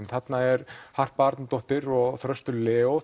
þarna er Harpa Arnardóttir og Þröstur Leó